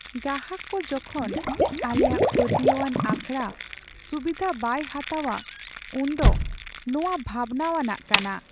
ᱜᱟᱦᱟᱠ ᱠᱚ ᱡᱚᱠᱷᱚᱱ ᱟᱞᱮᱭᱟᱜ ᱯᱟᱹᱛᱭᱟᱹᱣᱟᱱ ᱟᱠᱷᱲᱟ ᱥᱩᱵᱤᱫᱷᱟ ᱵᱟᱭ ᱦᱟᱛᱟᱣᱟ ᱩᱱᱫᱚ ᱱᱚᱶᱟ ᱵᱷᱟᱵᱽᱱᱟᱣᱟᱱᱟᱜ ᱠᱟᱱᱟ ᱾